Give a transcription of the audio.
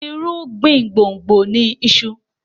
irugbin gbongbo ní iṣu.